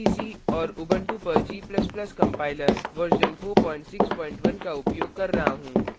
gcc और Ubuntu पर g ++ compiler version 461 का उपयोग कर रहा हूँ